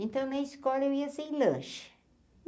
Então, na escola, eu ia sem lanche.